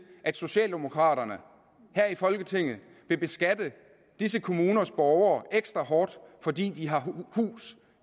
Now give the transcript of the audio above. at socialdemokraterne her i folketinget vil beskatte disse kommuners borgere ekstra hårdt fordi de har hus